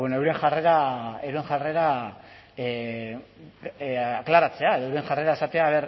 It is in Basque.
euren jarrera aklaratzea edo euren jarrera esatea